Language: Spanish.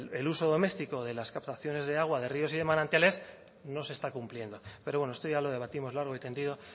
el uso doméstico de las captaciones de agua de ríos y manantiales no se está cumpliendo pero bueno esto ya lo debatimos largo y tendido